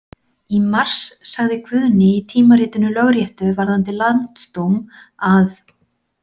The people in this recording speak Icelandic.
Í mars sagði Guðni í tímaritinu Lögréttu varðandi Landsdóm að.